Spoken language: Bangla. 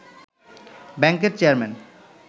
ব্যাংকের চেয়ারম্যান